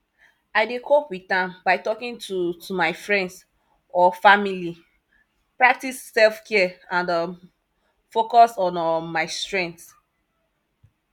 i dey cope with am by talking to to my friends or family preactice selfcare and um focus on um my strengths